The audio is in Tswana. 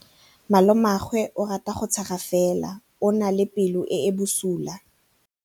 Malomagwe o rata go tshega fela o na le pelo e e bosula.